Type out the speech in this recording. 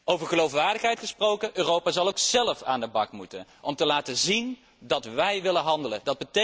Over geloofwaardigheid gesproken Europa zal ook zelf aan de bak moeten om te laten zien dat wij willen handelen.